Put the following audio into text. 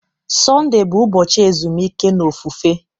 Sọnde bụ ụbọchị ezumike na ofufe.